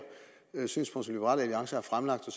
synspunkt som liberal alliance har fremlagt og